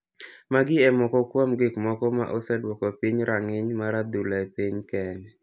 magi e moko kuom gik moko ma oseduoko piny ranginy mar adhula e piny kenya.